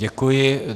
Děkuji.